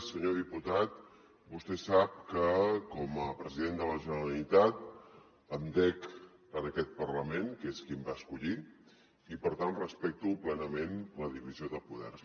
senyor diputat vostè sap que com a president de la generalitat em dec a aquest parlament que és qui em va escollir i per tant respecto plenament la divisió de poders